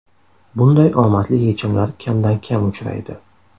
Bunday omadli yechimlar kamdan-kam uchraydi.